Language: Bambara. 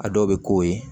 A dɔw bɛ k'o ye